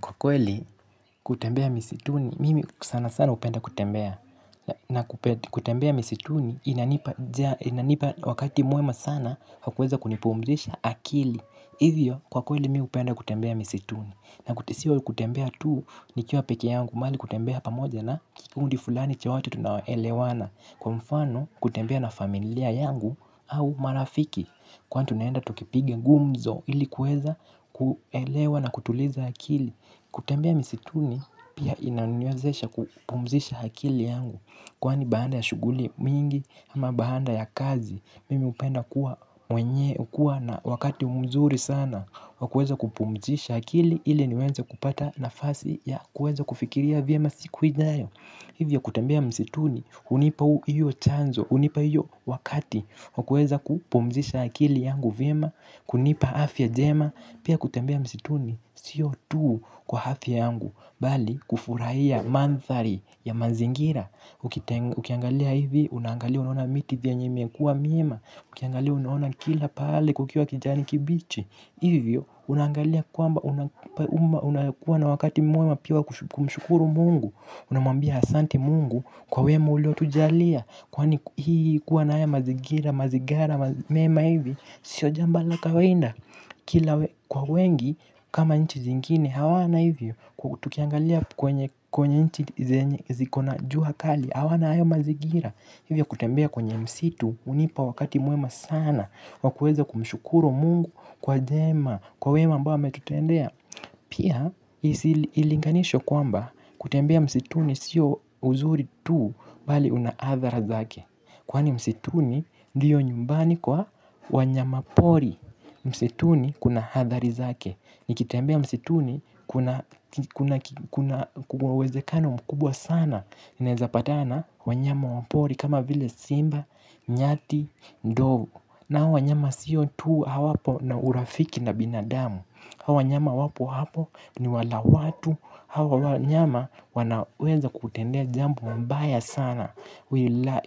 Kwa kweli kutembea misituni, mimi sana sana upenda kutembea. Na kutembea misituni inanipa wakati mwema sana hakuweza kunipumzisha akili. Hivyo kwa kweli mimi hupenda kutembea misituni. Na sio kutembea tuu nikiwa peke yangu mali kutembea hapa moja na kikundi fulani cha watu tunaelewana. Kwa mfano kutembea na familia yangu au marafiki. Kwani tunaenda tukipigs gumzo ili kuweza kuelewa na kutuliza akili. Kutembea misituni pia inanuwezesha kupumzisha akili yangu. Kwani baada ya shuguli mingi ama baada ya kazi mimi upenda kuwa mwenye ukuwa na wakati umzuri sana wa kueza kupumzisha hakili ili niweze kupata nafasi ya kueza kufikiria vyema siku ijayo. Hivyo kutembea misituni hunipa hiyo chanzo unipa hiyo wakati wakueza kupumzisha akili yangu vyema, kunipa afya jema, pia kutembea msituni, siyo tuu kwa hafya yangu, bali kufurahia manthari ya mazingira, ukiangalia hivi, unangalia unaona miti vyenye imekuwa miema, ukiangalia unaona kila pahai kukiwa kijani kibichi, hivyo unangalia kwamba unakuwa na wakati mwema pia kumshukuru Mungu, unamwambia asanti Mungu, kwa wema ulio tujalia, kwani hii kuwa na haya mazigira, mazigara, mema hivi. Sio jamba la kawainda. Kwa wengi, kama nchi zingine, hawana hivi. Kwa tukiangalia kwenye nchi zikona juha kali. Hawana hayo mazigira. Hivyo kutembea kwenye msitu unipa wakati mwema saana wa kueza kumshukuru Mungu kwa jema kwa wema ambao ametutendea. Pia, ilinganisho kwamba kutembea msituni sio uzuri tu bali una athara zake kwani msituni ndiyo nyumbani kwa wanyama pori msituni kuna hathari zake nikitembea msituni kuna uwezekano mkubwa sana naeza patana wanyama wa pori kama vile simba, nyati, ndovu na hao wanyama siyo tuu hawapo na urafiki na binadamu hawanyama wapo-wapo ni wala watu hawa wanyama wanaweza kutendea jambu mbaya sana wila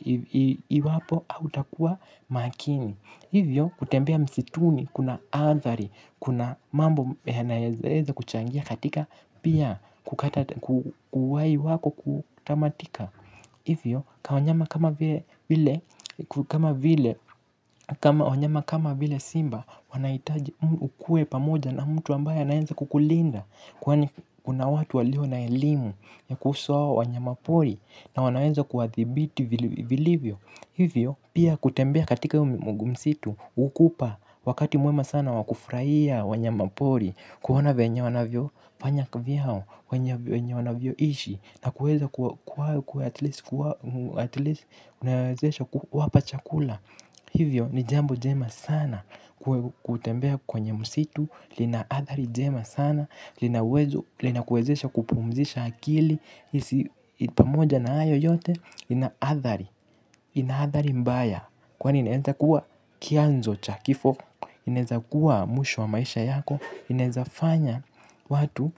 iwapo autakua makini hivyo kutembea msituni kuna athari kuna mambo ya naeza kuchangia katika pia kukatata kuwayi wako kutamatika hivyo kwa wanyama kama vile simba wanaitaji ukue pamoja na mtu ambaye anaeza kukulinda. Kwani kuna watu walio na elimu ya kuhusu hao wanyamapori na wanaweza kuwadhibiti vilivyo. Hivyo pia kutembea katika msitu hukupa wakati mwema sana wa kufraia wanyamapori. Kuona venye wanavyo fanya kivyao, wenye wanavyo ishi na kuweza kuwa at least wapachakula. Hivyo ni jambo jema sana kutembea kwenye msitu lina athari jema sana. Lina uwezo, lina kuezesha kupumzisha akili. Isi pamoja na hayo yote ina athari, ina athari mbaya. Kwani inaweza kuwa kianzo cha kifo. Inaweza kuwa mwisho wa maisha yako. Inaweza fanya watu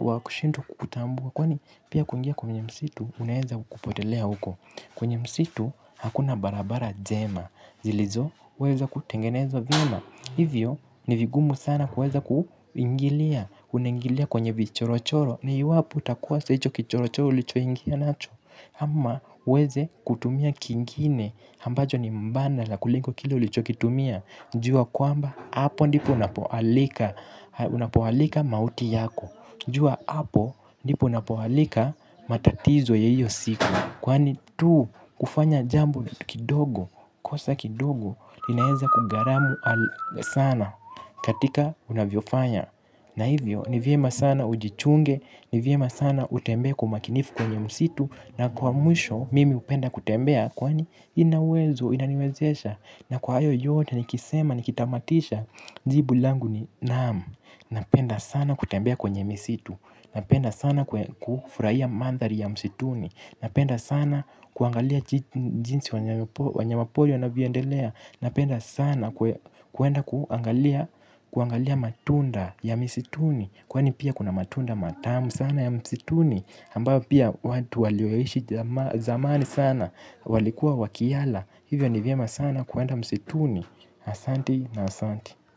wa kushindo kukutambua. Kwani pia kuingia kwenye msitu unaeza kupotelea huko. Kwenye msitu hakuna barabara jema zilizoo, weza kutengenezwa vyema. Hivyo, ni vigumu sana kueza kuingilia. Unengilia kwenye vichoro choro. Ni iwapo utakosa icho kichoro choro ulicho ingia nacho ama uweze kutumia kingine. Hambajo ni mbanda la kuliko kile ulicho ukitumia. Njua kwamba hapo ndipo unapo alika. Unapowalika mauti yako jua hapo ndipo unapo alika matatizo ya hiyo siku. Kwani tu kufanya jambo kidogo kosa kidogo linaeza kugaramu sana. Katika unavyo fanya na hivyo, ni vyema sana ujichunge, ni vyema sana utembee kwa umakinifu kwenye msitu. Na kwa mwisho, mimi hupenda kutembea kwani ina uwezo, inaniwezesha. Na kwa ayo yote, nikisema, nikitamatisha, njibu langu ni naam. Napenda sana kutembea kwenye misitu. Napenda sana kufurahia mandhari ya msituni. Napenda sana kuangalia jinsi wanyama poli wanavyo endelea. Napenda sana kuenda kuangalia kuangalia matunda ya misituni. Kwani pia kuna matunda matamu sana ya msituni. Hambayo pia watu walioishi zamani sana walikuwa wakiala. Hivyo ni vyema sana kuenda msituni. Asanti na asanti.